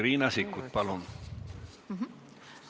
Riina Sikkut, palun!